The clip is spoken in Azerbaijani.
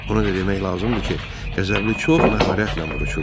Ona da demək lazımdır ki, qəzəbli çox məharətlə vuruşurdu.